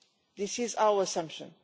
That is our assumption.